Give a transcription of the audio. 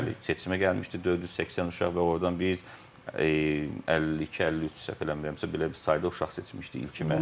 Bəli, seçimə gəlmişdi 480 uşaq və ordan biz 52, 53 səhv eləmirəmsə belə bir sayda uşaq seçmişdi ilkin mərhələdə.